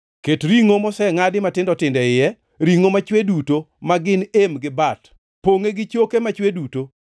Ket ringʼo mosengʼadi matindo tindo e iye, ringʼo machwe duto; ma gin em gi bat. Pongʼe gi choke machwe duto;